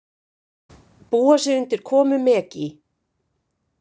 Búa sig undir komu Megi